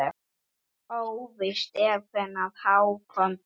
Óvíst er hvenær Hákon dó.